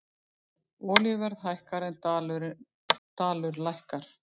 Olíuverð hækkar en dalur lækkar